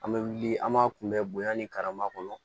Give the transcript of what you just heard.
An bɛ wuli an b'a kunbɛn bonya ni karama kɔnɔ